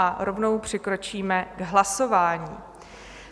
A rovnou přikročíme k hlasování.